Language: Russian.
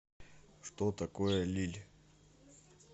что такое лилль